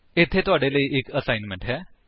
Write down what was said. ਇੱਥੇ ਤੁਹਾਡੇ ਲਈ ਇੱਕ ਅਸਾਈਨਮੈਂਟ ਹੈ